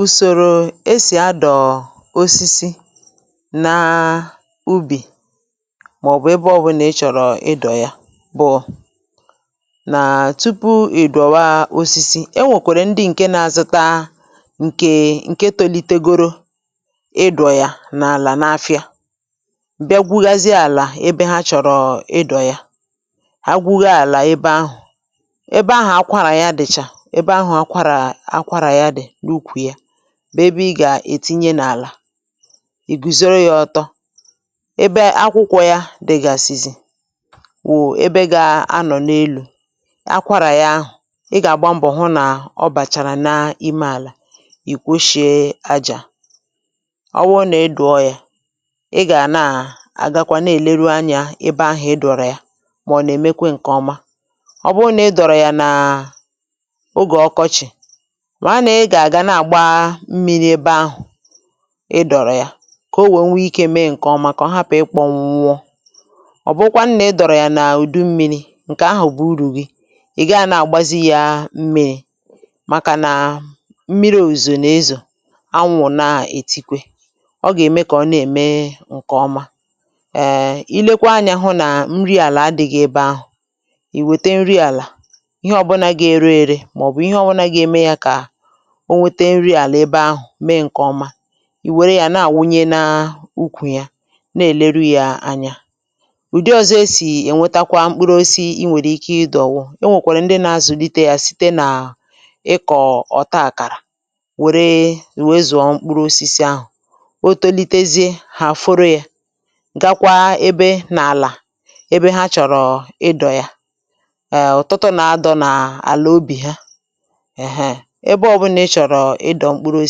Ùsòrò esì adọ̀ osisi na ubì, màọ̀bụ̀ ebe ọbụnȧ ị chọ̀rọ̀ ịdọ̀ ya bụ, nà tupu ị̀ dọ̀wa osisi, e nwèkwèrè ndị ǹke na-azụta ǹkè ǹke tolitegoro ịdọ̀ ya n’àlà n’afịa, bịa gwugȧzị àlà ebe ha chọ̀rọ̀ ịdọ̀ ya, ha gwuhȧ àlà ebe ahụ̀, ebe ahụ̀ akwara ya dị̀chà, ebe áhù akwara akwara ya di na ụkwụ ya bu ebe ị gà-ètinye n’àlà, ì gùzòrò ya ọtọ, ebe akwụkwọ ya dị̀gàsizi wụ̀ ebe ga-anọ̀ n’elu̇, akwarà ya ahụ̀, ị gà-àgba mbọ̀ hụ nà ọ bàchàrà n’ime àlà ì kwoshie ajà, ọ wụrụ nà ị dụ̀ọ ya ị gà na àgakwa na-èleru anyȧ ebe ahụ̀ ị dọ̀rọ̀ ya mà ọ̀ nà-èmekwe ǹkè ọma, ọ bụrụ nà ị dọ̀rọ̀ ya nà ógè okochi, màra nà-ịgà àga na-àgba mmịrị̇ ebe ahụ̀ ịdọ̀rọ̀ ya, kà o wèe nwee ikė mee ǹkè ọma kà ọ hapụ̀ ikpònwu wụọ, ọ bụkwa nnà ịdọ̀rọ̀ ya nà ụ̀dụ mmịrị̇ ǹkè ahụ̀ bù urù gị ị̀ gaa nà-àgbazi yȧ mmịrị̇ màkà nà mmịrị̇ òzò nà-ezò anwụ̀ nà-ètikwe, ọ gà-ème kà ọ na-ème ǹkè ọma, um ilekwa anyȧ hụ nà nri àlà adị̇ghị ebe ahụ̀, ì wète nri àlà, ihe ọbụna ga-ere ere, maọbu ìhè ọbula gȧ-eme ya kà o nwete nri àlà ebe ahụ̀ mee ǹkè ọma, ì wère yȧ na-àwunye na ukwù ya na-èleru yȧ anya. Ụ̀dị ọ̀zọ esì ènwetakwa mkpuru osisi i nwèrè ike idȯ wụ, o nwèkwàrà ndị na-azụ̀lite yȧ site nà ịkọ̀ ọ̀ta àkàrà wère ùwe zụ̀ọ mkpuru osisi ahụ̀, o tolitezie hà àforo yȧ gakwa ebe nà àlà ebe ha chọ̀rọ̀ ịdọ̀ ya, um ọtụtụ nà adọ̇ nà àlà obì ha, ehee, ebe ọ̀bụnà ịchọ̀rọ̀ ịdọ̇ mkpụrụo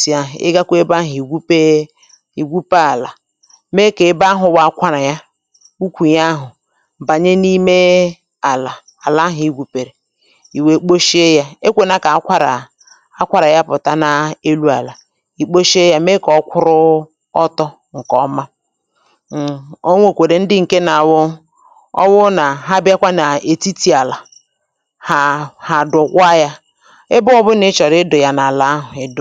si ahụ̀ ịgȧkwȧ ebe ahụ̀ ìgwupe ìgwupe àlà, mee kà ebe ahụ̇ wù akwarà ya ukwù ya ahụ̀ bànye n’ime àlà àlà ahụ̀ ịgwùpèrè, ìwè kposhie yȧ, e kwè nà kà akwarà akwarà ya pụ̀ta n’elu àlà ìkposhie yȧ, mee kà ọkwụrụ ọtọ ǹkè ọma, ọ̀ nwèkwèrè ndị ǹke na awụ ọ wụ nà ha bịakwa nà ètitì àlà ha ha dụ̀kwà ya, ebe obula ichoro idù ya n'ala ahụ idù.